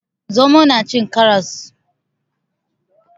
Zomo na cin karras.